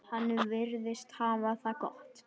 Hann virðist hafa það gott.